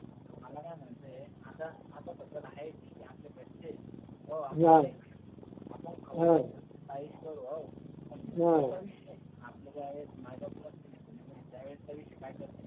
मला काय म्हणायचं य आता अर्धा खर्च आहे आपल्या घरचे अं हम्म आपण खाऊ चविष्ट अं आपले जेव्हा माय बाप नसतील